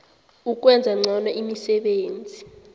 ukwenza ngcono imisebenzi